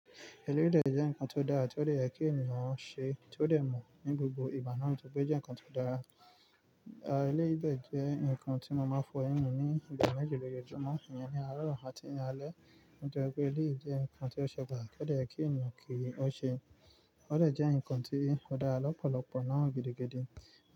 Eléyìí dẹ́ jẹ́ ǹkan tó dára tí ó dẹ̀ yẹ kí ènìyàn ṣe tí ó dẹ̀ mọ̀ ní gbogbo ìgbà náà, nítorí pé jẹ́ ǹkan tó dára. Eléyìí dẹ̀ jẹ́ ǹkan tí mo máa fọ ẹyin mi ní ìgbà méjì lójoojúmọ́, ìyẹn ni àárọ̀ àti ní alẹ́. Nítorí pé èléyìí jẹ́ ǹkan tí ó ṣe pàtàkì, ó dẹ̀ yẹ kí ènìyàn kí ó ṣe. Ó lè jẹ́ ǹkan tí ó dára lọ́pọ̀lọpọ̀ náà gidigidi.